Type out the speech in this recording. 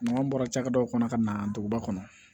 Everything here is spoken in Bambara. Maa bɔra cakɛdaw kɔnɔ ka na duguba kɔnɔ